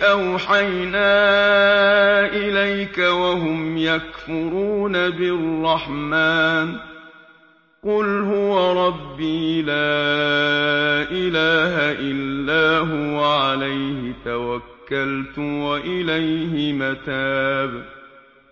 أَوْحَيْنَا إِلَيْكَ وَهُمْ يَكْفُرُونَ بِالرَّحْمَٰنِ ۚ قُلْ هُوَ رَبِّي لَا إِلَٰهَ إِلَّا هُوَ عَلَيْهِ تَوَكَّلْتُ وَإِلَيْهِ مَتَابِ